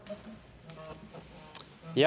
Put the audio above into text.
i